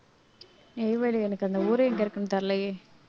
நெய்வேலியா எனக்கு அந்த ஊரு எங்க இருக்குன்னு தெரியலயே